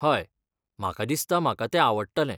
हय, म्हाका दिसता म्हाका तें आवडटलें.